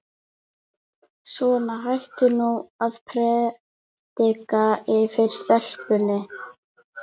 Svona, hættu nú að predika yfir stelpunni.